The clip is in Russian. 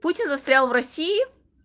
путин застрял в россии